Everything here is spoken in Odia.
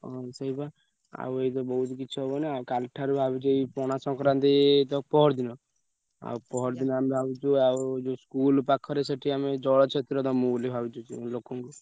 ହୁଁ ସେଇବା ଆଉ ଏବେ ବହୁତ କିଛି ହବନା କାଲିଠାରୁ ଭାବୁଛି ଏଇ ପଣା ସଂକ୍ରାନ୍ତି ତ ପଅରଦିନ। ଆଉ ପଅରଦିନ ଆମେ ଭାବିଛୁ ଆଉ ଯୋଉ school ପାଖରେ ସେଠି ଆମେ ଜଳଛତ୍ର ଦମୁ ବୋଲି ଭାବୁଛୁ ଲୋକଂକୁ।